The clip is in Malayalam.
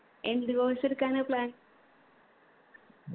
എന്ത് course എടുക്കാനാ plan